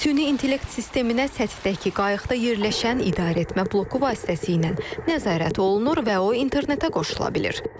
Süni intellekt sisteminə səthdəki qayıqda yerləşən idarəetmə bloku vasitəsilə nəzarət olunur və o internetə qoşula bilir.